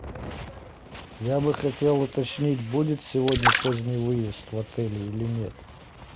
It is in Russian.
я бы хотел уточнить будет сегодня поздний выезд в отеле или нет